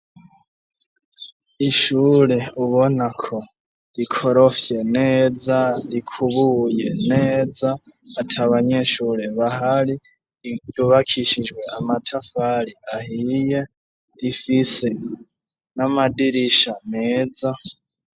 Ishure ubona ko rikorofye neza, rikubuye neza, atabanyeshure bahari, ryubakishijwe amatafari ahiye, rifise n'amadirisha meza.